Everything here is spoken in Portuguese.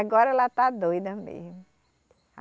Agora ela está doida mesmo.